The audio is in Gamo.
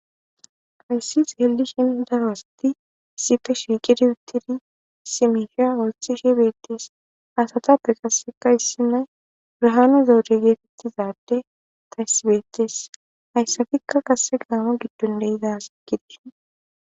ayssis heldi shindawasti isife shiiqidi uttidi simisha olsxi shibettes asata pe qasseka issi nay urhaanu zoude geefettizadde tayssibettes hayssafikka kase gaamo giddon de izasi gidi